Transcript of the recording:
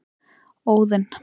Óðinn